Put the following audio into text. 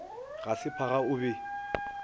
ga se phaga o be